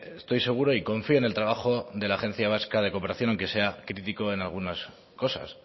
estoy seguro y confío en el trabajo de la agencia vasco de cooperación aunque sea crítico en algunas cosas